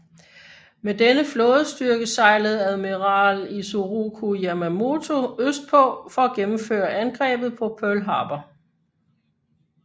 Med denne flådestyrke sejlede admiral Isoroku Yamamoto øst på for at gennemføre angrebet på Pearl Harbor